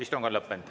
Istung on lõppenud.